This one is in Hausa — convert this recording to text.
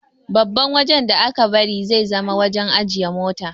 Babban wajan da aka bari zai zama wajan ajiye mota